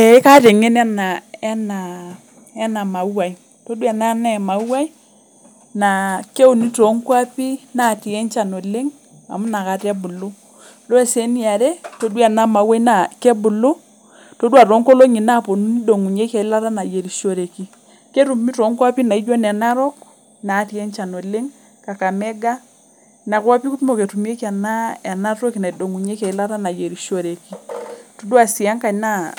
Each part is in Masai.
Ee kaata engeno ena mauai tadua ena na emaui na keuni tonkwapi natii enchan oleng amu nakata ebulu ore eniare tadua enamauai na kebulu todua tonkolongi naponu nidongunyieki eilata nayierishoreki ketumi tonkwapi naijo ne narok natii enchan oleng, kakamega nkwapi kumok etumieki enatoki naidongieki eilata nayierishoreki itadua si enkae na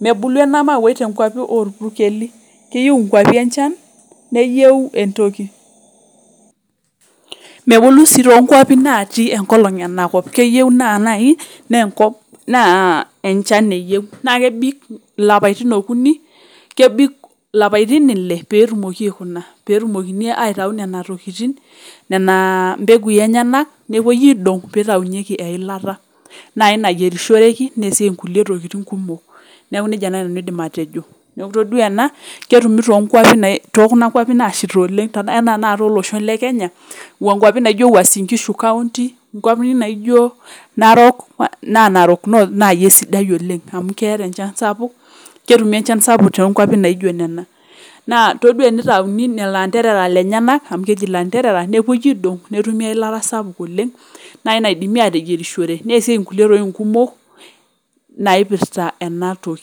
menulu enamauai tonkwapi orpureli keyieu nkeapi enchan neyieu, mebulu si to kwapi natii enkolong oleng keyieu nai na enchan eyieu nakebik lapaitin okuni kebik lapatin ile petumokini aitau nona tokitin nepuoi aidong pitaunyeki eilatanai nayierishoreki neasieki ntokitin kumok neaku nejia nai aidim atejo neaku tadua ena ketumi to kwapi nasheta oleng ana nai olosho le Kenya nkwapi naijo wuasin nkishu nkwapi naijo narok na narok north nai esidai oleng amu keeta enchan sapuk ketumi enchan sapuk tonkwapi naijo nona na itodua enitauni lolo anderera napoi aidong netumi eilata sapuk oleng nai naidimi ateyierisho neasieki ntokitin kumok naipirta enatoki.